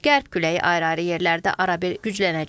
Qərb küləyi ayrı-ayrı yerlərdə arabir güclənəcək.